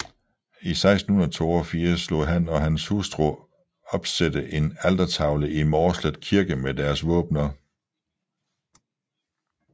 I 1682 lod han og hans hustru opsætte en altertavle i Mårslet Kirke med deres våbener